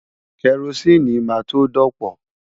Kẹrosíìnì máa tó dọ̀pọ̀.